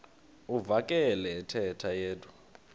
uvakele ethetha yedwa